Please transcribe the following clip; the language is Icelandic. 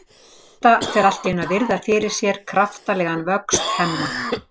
Edda fer allt í einu að virða fyrir sér kraftalegan vöxt Hemma.